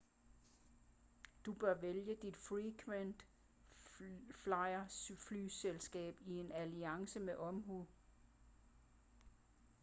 du bør vælge dit frequent flyer-flyselskab i en alliance med omhu